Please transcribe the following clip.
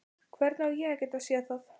Hvernig á ég að geta séð það?